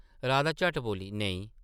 राधा झट्ट बोली, ‘‘नेईं ।’’